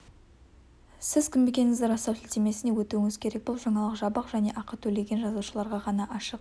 сіз кім екендігіңізді растау сілтемесіне өтуіңіз керек бұл жаңалық жабық және ақы төлеген жазылушыларға ғана ашық